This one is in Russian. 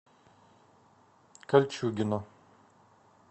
кольчугино